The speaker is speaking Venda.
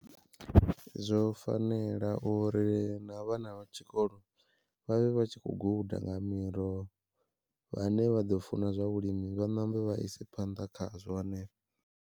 Zwo fanela uri na vhana vha tshikolo vha vhe vha tshi kho guda nga miroho vhane vha ḓo funa zwa vhulimi vha ṋambe vha ise phanḓa khazwo hanefho.